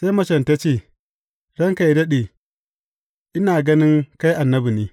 Sai macen ta ce, Ranka yă daɗe, ina gani kai annabi ne.